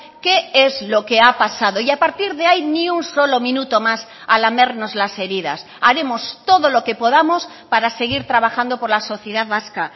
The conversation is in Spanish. qué es lo que ha pasado y a partir de ahí ni un solo minuto más a lamernos las heridas haremos todo lo que podamos para seguir trabajando por la sociedad vasca